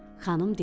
Xanım dedi: